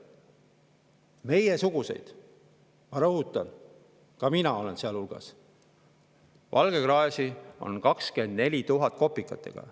Meiesuguseid – ma rõhutan, ka mina olen seal hulgas – valgekraesid on 24 000 kopikatega.